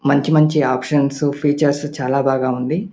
మంచి మంచి ఒప్షన్స్ ఫీచర్లు చాల బాగా ఉంది.